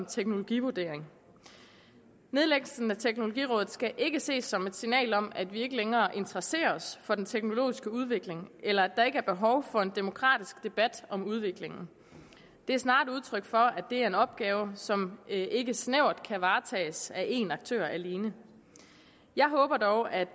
teknologivurdering nedlæggelsen af teknologirådet skal ikke ses som et signal om at vi ikke længere interesserer os for den teknologiske udvikling eller at der ikke er behov for en demokratisk debat om udviklingen det er snarere et udtryk for at det er en opgave som ikke snævert kan varetages af én aktør alene jeg håber dog at